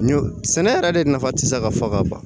Ɲɔ sɛnɛ yɛrɛ de nafa ti se ka fɔ ka ban